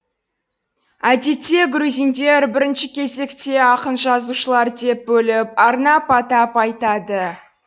әдетте грузиндер бірінші кезекте ақын жазушылар деп бөліп арнап атап айтады